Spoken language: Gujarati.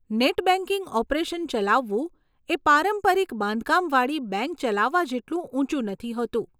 નેટ બેંકિંગ ઓપરેશન ચલાવવું એ પારંપરિક બાંધકામવાળી બેંક ચલાવવા જેટલું ઊંચું નથી હોતું.